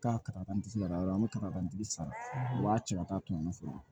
K'a kari kari yɔrɔ min kara nde sara u b'a cɛ ka taa tunga fɛ